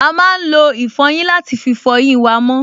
A máa lo ìfọyín láti fí fọ eyín wa mọ́